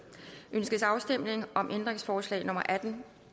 ønskes afstemning om ændringsforslag nummer atten